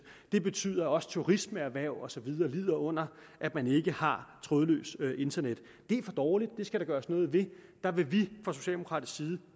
det betyder også at turismeerhverv og så videre lider under at man ikke har trådløst internet det er for dårligt det skal der gøres noget ved der vil vi fra socialdemokratisk side